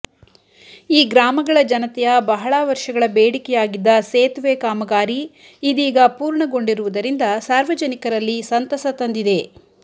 ಈ ಗ್ರಾಮಗಳ ಜನತೆಯ ಬಹಳ ವರ್ಷಗಳ ಬೇಡಿಕೆಯಾಗಿದ್ದ ಸೇತುವೆ ಕಾಮಗಾರಿ ಇದೀಗ ಪೂರ್ಣಗೊಂಡಿರುವುದರಿಂದ ಸಾರ್ವಜನಿಕರಲ್ಲಿ ಸಂತಸ ತಂದಿದೆ